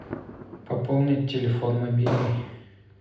пополнить телефон мобильный